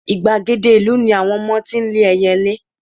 igbagede ìlú ni àwọn ọmọ tí n le eyelé